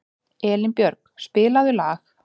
Elínbjörg, spilaðu lag.